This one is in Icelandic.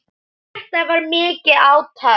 Þetta var mikið átak.